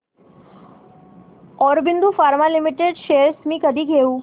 Aurobindo Pharma Limited shares मी कधी घेऊ